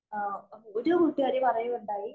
ഒരു കൂട്ടുകാരി പറയുകയുണ്ടായി.